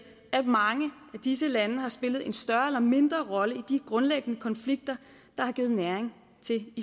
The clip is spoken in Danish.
at mange af disse lande har spillet en større eller mindre rolle i de grundlæggende konflikter der har givet næring til